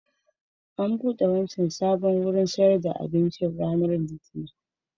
An buɗe wancan sabon wurin sayar da abincin ranar Litinin